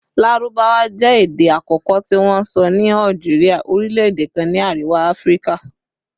Larubawa jẹ ede akọkọ ti wonsọ ni Algeria, orilẹ-ede kan ni Ariwa Afirika